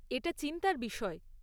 এটা চিন্তার বিষয়।